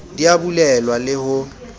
di a bulelwa le ho